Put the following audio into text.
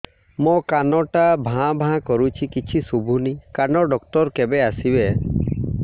ମୋ କାନ ଟା ଭାଁ ଭାଁ କରୁଛି କିଛି ଶୁଭୁନି କାନ ଡକ୍ଟର କେବେ ଆସିବେ